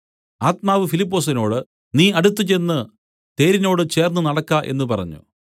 ആത്മാവ് ഫിലിപ്പൊസിനോട് നീ അടുത്തുചെന്നു തേരിനോട് ചേർന്നുനടക്ക എന്നു പറഞ്ഞു